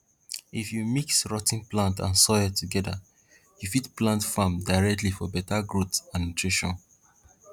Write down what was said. if you mix rot ten plants and soil together you fit plant farm directly for better growth and nutrition